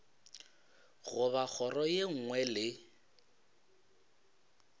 goba kgoro ye nngwe le